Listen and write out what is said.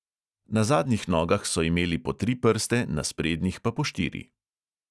Na zadnjih nogah so imeli po tri prste, na sprednjih pa po štiri.